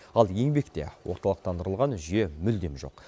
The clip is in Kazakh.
ал еңбекте орталықтандырылған жүйе мүлдем жоқ